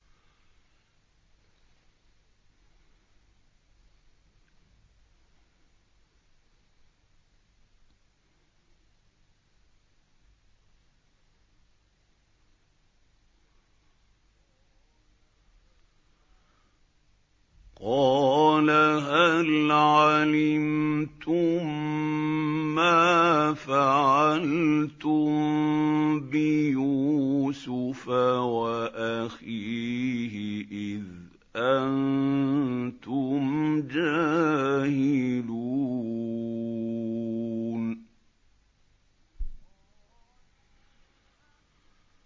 قَالَ هَلْ عَلِمْتُم مَّا فَعَلْتُم بِيُوسُفَ وَأَخِيهِ إِذْ أَنتُمْ جَاهِلُونَ